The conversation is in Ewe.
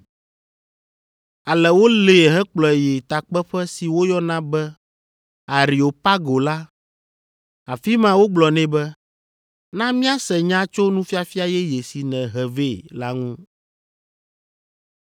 Ale wolée hekplɔe yi takpeƒe si woyɔna be Areopago la, afi ma wogblɔ nɛ be, “Na míase nya tso nufiafia yeye si nèhe vɛ la ŋu.